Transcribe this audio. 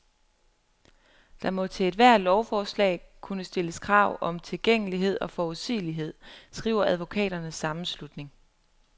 Der må til ethvert lovforslag kunne stilles krav om tilgængelighed og forudsigelighed, skriver advokaternes sammenslutning.